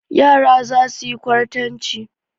Yara za su yi kwartanci.